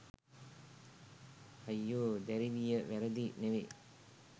හයියෝ දැරිවිය වැරදි නෙවෙයි.